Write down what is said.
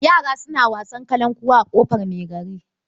Yara suna wasan kalankuwa a ƙofar mai gari.